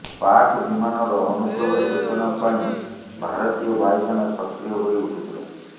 ପାକ୍ ବିମାନର ଅନୁପ୍ରବେଶ ସୂଚନା ପାଇଁ ଭାରତୀୟ ବାୟୁସେନା ସକ୍ରିୟ ହୋଇ ଉଠିଥିିଲା